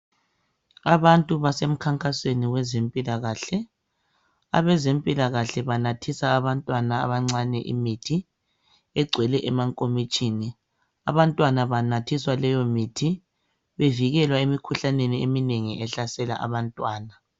Abantu basemkhankasweni wezimpilakahle, abezempilakahle banathisa abantwana abancane imithi egcwele emankomitshini. Abantwana banathiswa leyomithi bevikelwa emikhuhlaneni eminengi ehlasela abantwana.